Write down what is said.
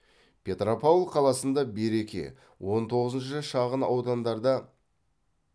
петропавл қаласында береке он тоғызыншы шағын аудандарда